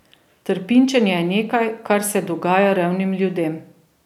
Trpinčenje je nekaj, kar se dogaja revnim ljudem.